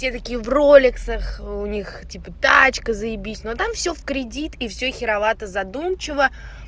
те такие в ролексах у них типа тачка заебись но там всё в кредит и всё херовато задумчиво